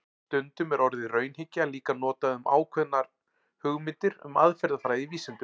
Stundum er orðið raunhyggja líka notað um ákveðnar hugmyndir um aðferðafræði í vísindum.